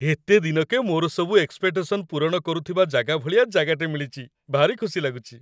ଏତେ ଦିନକେ ମୋର ସବୁ ଏକ୍ସପେକ୍ଟେସନ ପୂରଣ କରୁଥିବା ଜାଗା ଭଳିଆ ଜାଗାଟେ ମିଳିଚି, ଭାରି ଖୁସି ଲାଗୁଚି ।